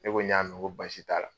Ne ko n y'a mɛ, n ko baasi t'a la.